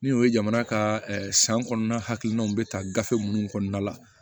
Ni o ye jamana ka san kɔnɔna hakilinanw bɛ ta gafe minnu kɔnɔna la